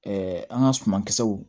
an ka suman kisɛw